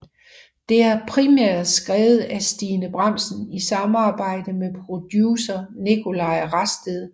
Det er primært skrevet af Stine Bramsen i samarbejde med producer Nicolaj Rasted